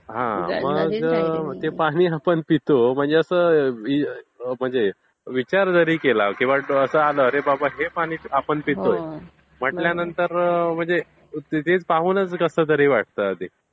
हा मग ते पानी आपण पितो म्हणजे असा विचार जारी केलं किंवा असं आला की बाबा हे पानी आपण पितो म्हंटल्यानंतर म्हणजे ते पाहूनचं कसतरी वाटतं आधी.